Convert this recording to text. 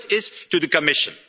The first is to the Commission.